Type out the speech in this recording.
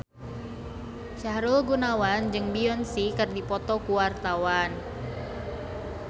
Sahrul Gunawan jeung Beyonce keur dipoto ku wartawan